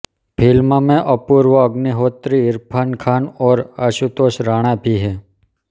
film में अपूर्व अग्निहोत्री इरफ़ान ख़ान और आशुतोष राणा भी हैं